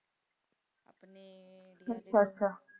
ਅੱਛਾ ਅੱਛਾ